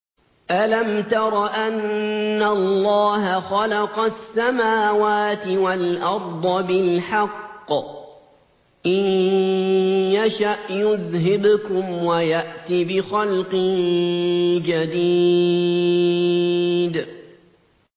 أَلَمْ تَرَ أَنَّ اللَّهَ خَلَقَ السَّمَاوَاتِ وَالْأَرْضَ بِالْحَقِّ ۚ إِن يَشَأْ يُذْهِبْكُمْ وَيَأْتِ بِخَلْقٍ جَدِيدٍ